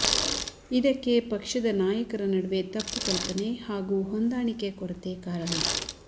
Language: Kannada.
ಇದಕ್ಕೆ ಪಕ್ಷದ ನಾಯಕರ ನಡುವೆ ತಪ್ಪು ಕಲ್ಪನೆ ಹಾಗೂ ಹೊಂದಾಣಿಕೆ ಕೊರತೆ ಕಾರಣ